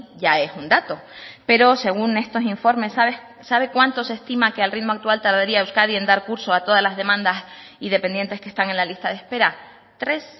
ya es un dato pero según estos informes sabe cuánto se estima que al ritmo actual tardaría euskadi en dar curso a todas las demandas y dependientes que están en la lista de espera tres